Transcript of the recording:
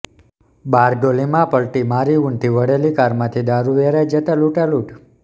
બારડોલીમાં પલટી મારી ઊંધી વળેલી કારમાંથી દારૃ વેરાઈ જતાં લૂંટાલૂંટ